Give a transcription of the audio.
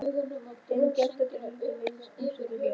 Hinn geltandi hundur reynist búsettur hér.